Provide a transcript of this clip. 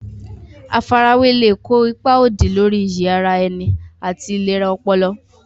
Àfarawé lè kó ipa òdì lórí iyì ara ẹni àti ìlera ọpọlọ.